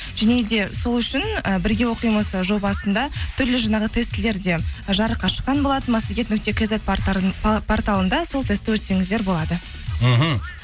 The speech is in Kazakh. және де сол үшін і бірге оқимыз жобасында түрлі жаңағы тестілерде жарыққа шыққан болатын массагет нүкте кизет порталында сол тестті өтсеңіздер болады мхм